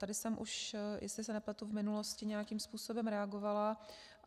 Tady jsem už, jestli se nepletu, v minulosti nějakým způsobem reagovala.